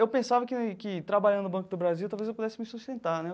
Eu pensava que que trabalhando no Banco do Brasil talvez eu pudesse me sustentar, né?